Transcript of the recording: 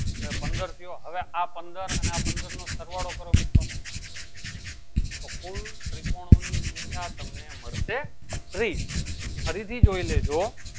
તોં એ પંદર થયો હવે આ પંદર આ પંદર નો સરવાળો કરો મિત્રો તો ફૂલ ત્રીકોનો ની સંખ્યા તમને મળશે ત્રીસ ફરી થી જોઈ લેજો